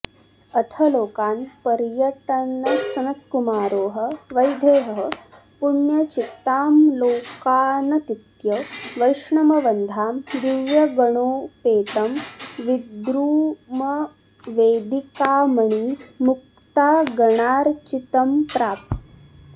अथ लोकान् पर्यटन्सनत्कुमारोह वैदेहः पुण्यचित्ताँल्लोकानतीत्य वैष्णवन्धाम दिव्यगणोपेतं विद्रुमवेदिकामणिमुक्तागणार्च्चितम्प्राप